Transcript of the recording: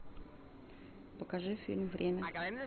покажи фильм время